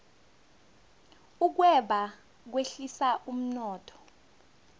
ukweba kwehlisa umnotho